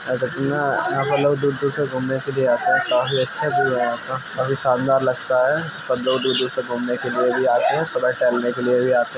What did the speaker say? यहाँ पर लोग दूर-दूर तक घूमने के लिए आते हैं काफी अच्छा व्यू है यहाँ का काफी शानदार लगता है सब लोग दूर-दूर तक घूमने के लिए भी आते हैं सुबह टहलने के लिए भी आते ---